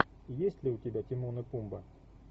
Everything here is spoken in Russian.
есть ли у тебя тимон и пумба